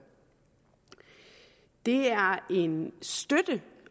det er en støtte